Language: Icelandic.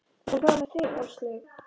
En hvað með þig Áslaug?